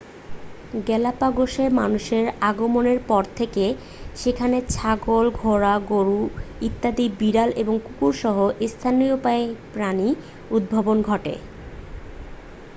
গ্যালাপ্যাগোসে মানুষের আগমনের পর থেকেই সেখানে ছাগল ঘোড়া গরু, ইঁদুর বিড়াল এবং কুকুর সহ স্তন্যপায়ী প্রাণীদের উদ্ভব ঘটে।